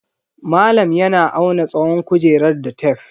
Malam yana auna tsawon kujerar da tef.